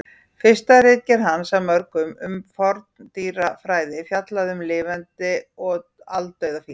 Fyrsta ritgerð hans af mörgum um forndýrafræði fjallaði um lifandi og aldauða fíla.